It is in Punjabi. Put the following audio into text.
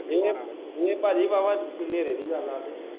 ਇਹ ਇਹ ਪਾਜੀ ਬਾਹਵਾ ਹਨੇਰੇ ਦੀ ਗੱਲ ਹੈ ਕਿ।